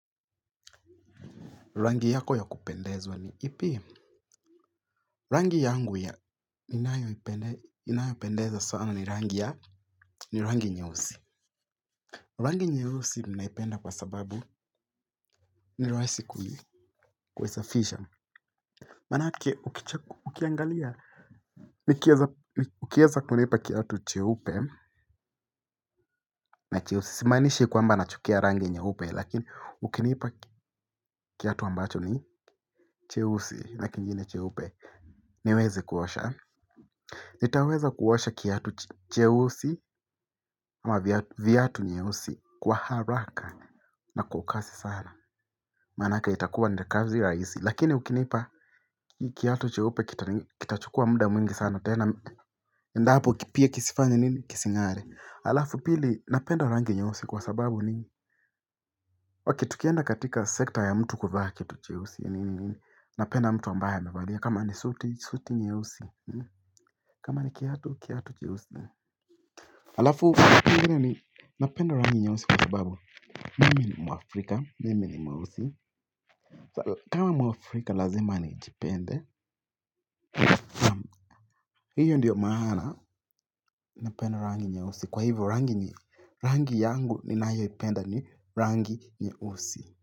Rangi yako ya kupendezwa ni ipi rangi yangu ya inayopendeza sana ni rangi ya ni rangi nyehusi rangi nyehusi minaipenda kwa sababu ni raisi kuhi kuwizafisha manake ukiangalia ni kiaza kunipa kiatu chehupe na cheusi simaanishi kwamba nachukia rangi nyeupe lakini ukinipa kiatu ambacho ni cheusi na kingine cheupe niwezi kuosha. Nitaweza kuosha kiatu cheusi. Ama viatu nyeusi kwa haraka na kwakasi sana. Maanake itakuwa nikazi rahisi. Lakini ukinipa kiatu cheupe kitachukua muda mwingi sana. Tena endapo kipia kisifanye nini kisingare. Alafu pili napenda rangi nyeusi kwa sababu nini ok tukienda katika sekta ya mtu kuvaa kitu cheusi nini nini napenda mtu ambaye amevalia kama ni suti nyeusi kama ni kiatu cheusi alafu napenda rangi nye usi kwa sababu mimi ni mwafrika mimi ni mweusi. Kama mwafrika lazima ni jipende. Hiyo ndiyo maana napenda rangi nye usi kwa hivyo rangi yangu ni nayo ipenda ni rangi nye usi.